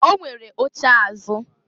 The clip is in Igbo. O nwere oche azụ.